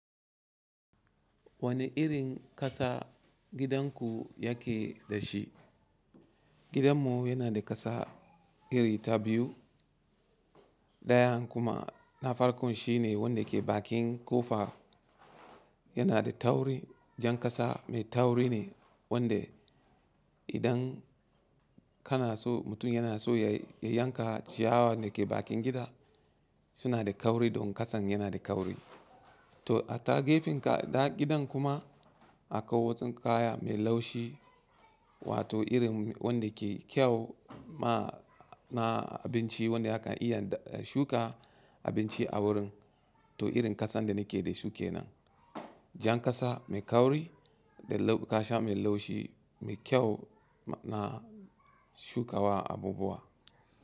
Wane irin ƙasa gidanku yake da shi? Gidanmu yana da ƙasa iri ta biyu. Ɗayan kuma na farkon shine wanda ke bakin ƙofa, yana da tauri. Jan ƙasa mai tauri ne wanda idan kana so mutum yana so ya yanka ciyawar da ke bakin gida suna da kauri don ƙasan yana da kauri. To a ta gefen kaɗa gidan kuma akwai watsun kaya mai laushi wato irin wanda ke kyau ma, na abinci wanda akan iya shuka abinci a wurin. To irin ƙasan da nake da su ke nan. Jan ƙasa mai kauri da ƙasha mai laushi mai kyau na shukawa abubuwa.